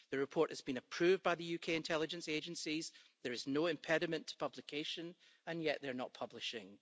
The report has been approved by the UK intelligence agencies, there is no impediment to publication, and yet, they're not publishing.